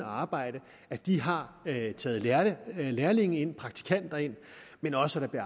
arbejdet har taget lærlinge ind praktikanter ind men også at der